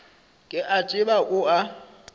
ke a tseba o a